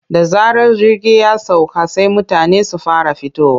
Da zarar jirgi ya sauka sai mutane su fara fitowa.